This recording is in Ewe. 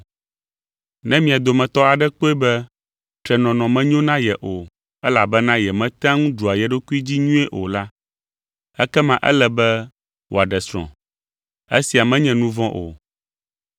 Ne mia dometɔ aɖe kpɔe be trenɔnɔ menyo na ye o elabena yemetea ŋu ɖua ye ɖokui dzi nyuie o la, ekema ele be wòaɖe srɔ̃. Esia menye nu vɔ̃ o.